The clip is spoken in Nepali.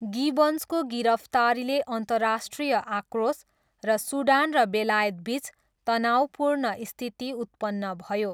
गिबन्सको गिरफ्तारीले अन्तर्राष्ट्रिय आक्रोश र सुडान र बेलायतबिच तनावपूर्ण स्थिति उत्पन्न भयो।